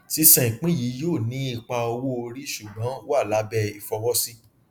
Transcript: sísan ìpín yìí yóò ní ipa owóorí ṣùgbọn wà lábẹ ìfọwọsí